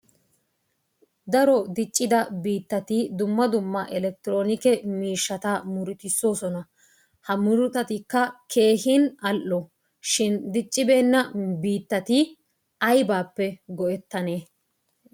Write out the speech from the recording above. Daro diccida biittatti dumma dumma elekitiroonike miishata murututisoosona. Ha murutatikka keehin al''o shin diccibeena biitati aybaappe go'etanee?